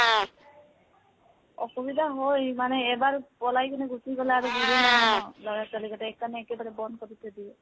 অসুবিধা হয়। মানে এবাৰ পলাই গুছি গলে ন । লৰা, ছোৱালী কেইতাই, সেইকাৰণে একেবাৰে বন্ধ কৰি থৈ দিয়ে